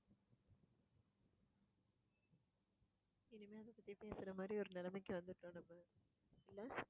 இனிமேல் அத பத்தி பேசற மாதிரி ஒரு நிலைமைக்கு வந்துட்டோம் நம்ம இல்ல